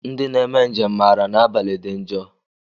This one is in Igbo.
Ndị na-eme njem maara na abalị dị njọ.